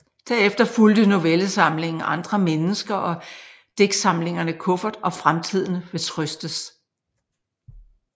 Derefter fulgte novellesamlingen Andre mennesker og digtsamlingerne Kuffert og Fremtiden vil trøstes